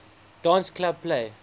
dance club play